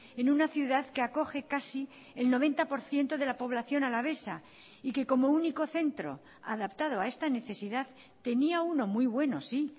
en una ciudad que acoge casi el noventa por ciento de la población alavesa y que como único centro adaptado a esta necesidad tenía uno muy bueno sí